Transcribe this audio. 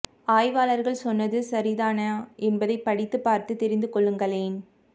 ஆய்வாளர்கள் சொன்னது சரிதான என்பதை படித்து பார்த்து தெரிந்து கொள்ளுங்களேன்